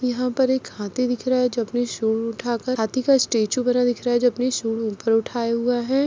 यहाँ पर एक हाथी दिख रहा है जो अपनी शुंड उठा कर हाथी का स्टेचू बना दिख रहा है जो अपनी शुंड ऊपर उठाए हुआ है ।